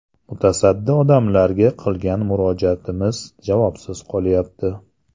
Mutasaddi odamlarga qilgan murojaatimiz javobsiz qolyapti.